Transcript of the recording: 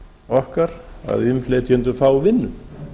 okkar að innflytjendur fá vinnu